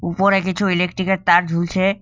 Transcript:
উপরে কিছু ইলেকট্রিকের তার ঝুলছে।